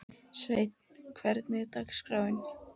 Sveinn, hvernig er dagskráin?